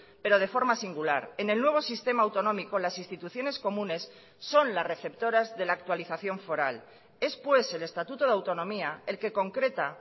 pero de forma singular en el nuevo sistema autonómico las instituciones comunes son las receptoras de la actualización foral es pues el estatuto de autonomía el que concreta